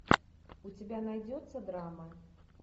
у тебя найдется драма